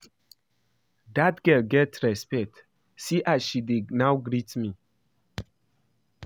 Dat girl get respect, see as she dey now greet me